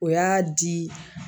O y'a di